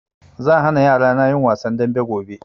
Zan hana yarana yin wasan dambe gobe